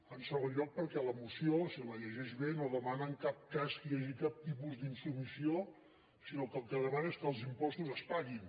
en segon lloc perquè la moció si la llegeix bé no demana en cap cas que hi hagi cap tipus d’insubmissió sinó que el que demana és que els impostos es paguin